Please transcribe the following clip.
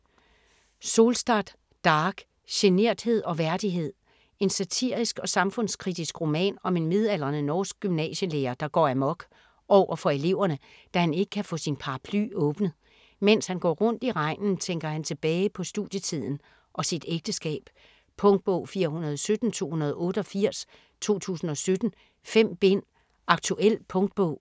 Solstad, Dag: Generthed og værdighed En satirisk og samfundskritisk roman om en midaldrende norsk gymnasielærer der går amok overfor eleverne, da han ikke kan få sin paraply åbnet. Mens han går rundt i regnen tænker han tilbage på studietiden og sit ægteskab. Punktbog 417288 2017. 5 bind. Aktuel punktbog